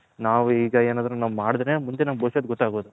ನಾವು ಈಗ ಏನಾದ್ರು ನಾವು ಮಾಡದ್ರೆ ಮುಂದೆ ನಮ್ಮ ಬವಿಷ್ಯತ್ ಗೊತ್ತಾಗೋದು .